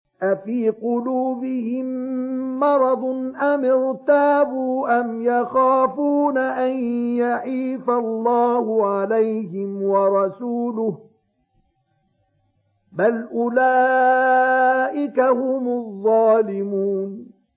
أَفِي قُلُوبِهِم مَّرَضٌ أَمِ ارْتَابُوا أَمْ يَخَافُونَ أَن يَحِيفَ اللَّهُ عَلَيْهِمْ وَرَسُولُهُ ۚ بَلْ أُولَٰئِكَ هُمُ الظَّالِمُونَ